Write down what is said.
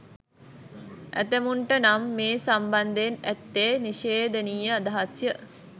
ඇතැමුන්ට නම් මේ සම්බන්ධයෙන් ඇත්තේ නිශේධනීය අදහස් ය.